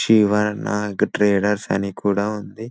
Shiva Nag traders అని కూడా ఉంది --